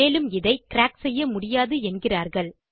மேலும் இதை கிராக் செய்ய முடியாது என்கிறார்கள்